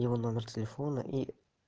его номер телефона и